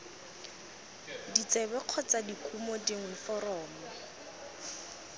ditsebe kgotsa dikumo dingwe foromo